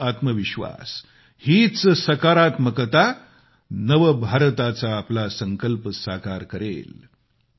हाच आत्मविश्वास हीच सकारात्मकता नवभारताचा आपला संकल्प साकार करेल